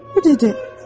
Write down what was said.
Getdi.